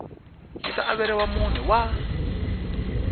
yi ta averiwa mune wa